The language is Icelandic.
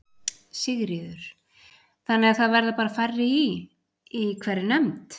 Sigríður: Þannig að það verða bara færri í, í hverri nefnd?